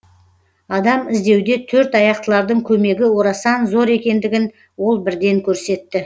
адам іздеуде төрт аяқтылардың көмегі орасан зор екендігін ол бірден көрсетті